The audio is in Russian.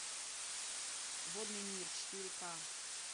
водный мир четыре к